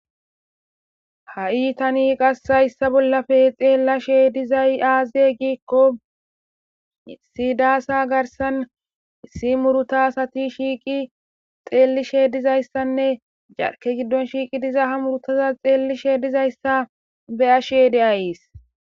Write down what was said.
ha7i tani qas hayssa bollafe xeella sheedizay aaze giikko siidaasa garsan isi muruta sati shiiqi xeelli sheedizayssanne jarke giddon shiiqi diza ha murutaza xeelli sheedizayssa beya shede aiis